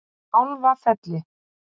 Kálfafelli